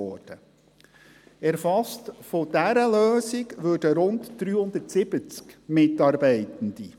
Von dieser Lösung würden rund 370 Mitarbeitende erfasst.